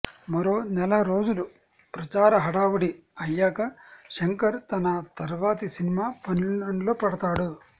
మరో నెల రోజులు ప్రచార హడావుడి అయ్యాక శంకర్ తన తర్వాతి సినిమా పనిలో పడతాడు